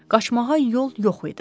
Qaçmağa yol yox idi.